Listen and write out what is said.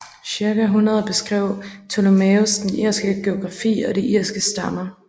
Cirka 100 beskrev Ptolemæus den irske geografi og de irske stammer